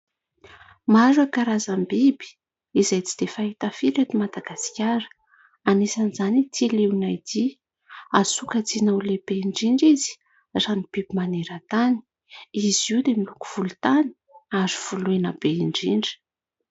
Maro ireo karazam-biby izay tsy dia fahita firy ety Madagasikara, anisan'izany ity liona ity. Azo sokajina ho lehibe indrindra izy raha ny biby maneran-tany. Izy io dia miloko volontany ary voloina be indrindra.